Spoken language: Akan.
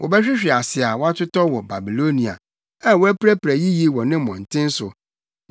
Wɔbɛhwehwe ase a wɔatotɔ wɔ Babilonia, a wɔapirapira yiye wɔ ne mmɔnten so.